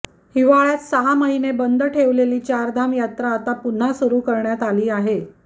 हिवाळ्यात सहा महिने बंद ठेवलेली चार धाम यात्रा आता पुन्हा सुरू करण्यात आली आहे